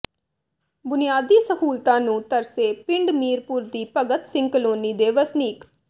ਬੁਨਿਆਦੀ ਸਹੂਲਤਾਂ ਨੂੰ ਤਰਸੇ ਪਿੰਡ ਮੀਰਪੁਰ ਦੀ ਭਗਤ ਸਿੰਘ ਕਾਲੋਨੀ ਦੇ ਵਸਨੀਕ